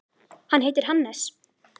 Hann heitir Hannes.